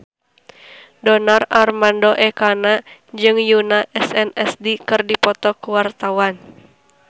Donar Armando Ekana jeung Yoona SNSD keur dipoto ku wartawan